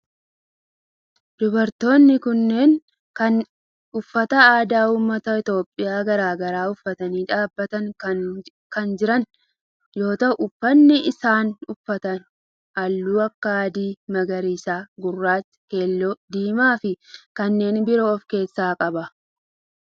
Dubartoonni kunneen uffata aadaa ummata Itiyoophiyaa garaa garaa uffatanii dhaabbatanii kan jiran yoo ta'u uffanni isaan uffatan halluu akka adii, magariisa, gurraacha, keelloo, diimaa fi kanneen biroo of keessaa qaba.